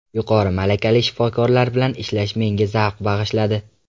Yuqori malakali shifokorlar bilan ishlash menga zavq bag‘ishladi.